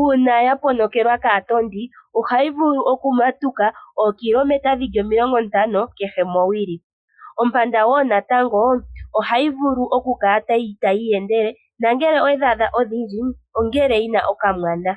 Uuna ya ponokelwa kaatondi ohayi vulu oku matuka ookilometa dhili omilongo ntano kehe mowili. Ompanda woo natango ohayi vulu okukala tayi iyendele nongele owedhi adha odhindji ongele yina okamwana.